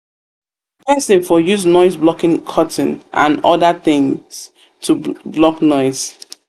person for use noise blocking curtain and oda things to block noise